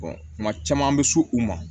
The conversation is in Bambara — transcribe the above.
kuma caman an bɛ so u ma